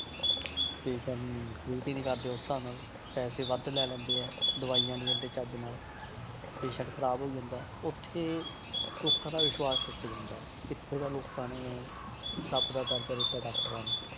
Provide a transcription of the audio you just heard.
Patient ਨੂੰ treat ਹੀ ਨੀ ਕਰਦੇ ਉਸ ਹਿਸਾਬ ਨਾਲ, ਪੈਸੇ ਵੱਧ ਲੈ ਲੈਂਦੇ ਹੈ, ਦਵਾਈਆਂ ਨੀ ਦਿੰਦੇ ਚੱਜ ਨਾਲ patient ਖ਼ਰਾਬ ਹੋਈ ਜਾਂਦਾ ਹੈ ਉੱਥੇ ਲੋਕਾਂ ਦਾ ਵਿਸਵਾਸ਼ ਟੁੱਟ ਜਾਂਦਾ ਹੈ, ਕਿੱਥੇ ਤਾਂ ਲੋਕਾਂ ਨੇ ਰੱਬ ਦਾ ਦਰਜ਼ਾ ਦਿੱਤਾ doctors ਨੂੰ